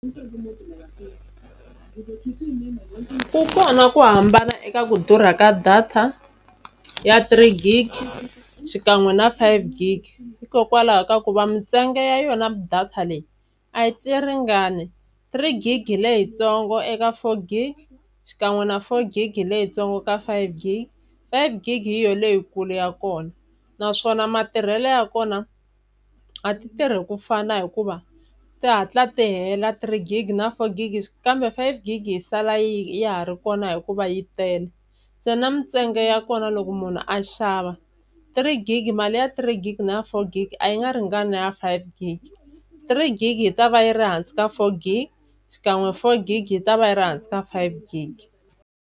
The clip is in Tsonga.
Ku kona ku hambana eka ku durha ka data ya three gig, xikan'we na five gig hikokwalaho ka ku va mintsengo ya yona data leyi a yi ringani. Three gig hi leyintsongo eka four gig xikan'we na four gig hi leyitsongo ka five gig, five gig hi yo leyikulu ya kona. Naswona matirhelo ya kona a ti tirhi ku fana hikuva ti hatla ti hela three gig na four gig, kambe five gig yi sala ya ha ri kona hikuva yi tele. Se na mintsengo ya kona loko munhu a xava three gig mali ya three gig na ya four gig a yi nga ringani na ya five gig, three gig yi ta va yi ri hansi ka four gig xikan'we four gig yi ta va yi ri hansi ka five gig.